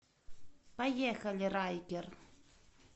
поехали райкер